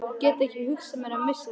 Ég get ekki hugsað mér að missa þig.